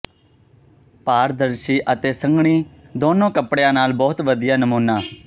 ਪਾਰਦਰਸ਼ੀ ਅਤੇ ਸੰਘਣੀ ਦੋਨੋਂ ਕੱਪੜਿਆਂ ਨਾਲ ਬਹੁਤ ਵਧੀਆ ਨਮੂਨਾ